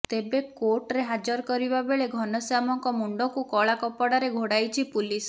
ତେବେ କୋର୍ଟରେ ହାଜର କରିବା ବେଳେ ଘନଶ୍ୟାମଙ୍କ ମୁଣ୍ଡକୁ କଳା କପଡାରେ ଘୋଡ଼ାଇଛି ପୁଲିସ